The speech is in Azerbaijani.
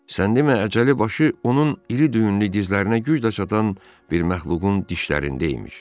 Sən demə əcəli başı onun iri düyünlü dizlərinə güc də çatan bir məxluqun dişlərində imiş.